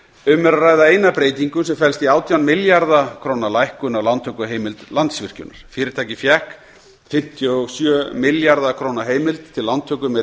um er að ræða eina breytingu sem felst í átján milljarða króna lækkun á lántökuheimild landsvirkjunar fyrirtækið fékk fimmtíu og sjö milljarða króna heimild til lántöku með